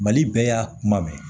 Mali bɛɛ y'a kuma bɛɛ